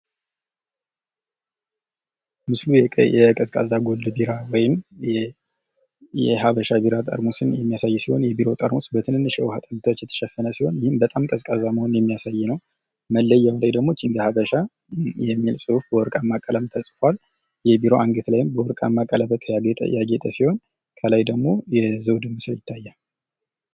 ምስሉ የቀዝቃዛ ጎልድ ቢራ ወይም የሃበሻ ቢራ ጠርሙስን የሚያሳይ ነው። የቢራው ጠርሙስ በትንንሽ የውሃ ጠብታዎች የተሸፈነ ሲሆን፤ ይህም በጣም ቀዝቃዛ መሆኑን የሚያሳይ ነው። መለያውም ላይ ደግሞ ኪንግ ሃበሻ የሚል በወርቃማ ጽሁፍ የተጻፈ ሲሆን ፤ የቢራው አንገት ላይ በወርቃማ ቀለበት ያጌጠ ሲሆን ፤ ከላይ ደግሞ የዘውድ ምስል ይታያል።